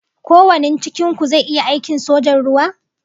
Ko wanin cikin ku zai iya aikin sojan ruwa?